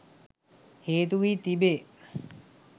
හේතු වී තිබේ